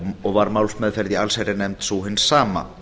og var málsmeðferð í allsherjarnefnd sú hin sama